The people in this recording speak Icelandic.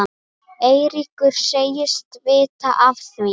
Eiríkur segist vita af því.